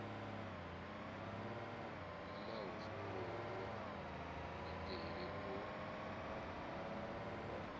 o ḽaho funguvhu iṱeli u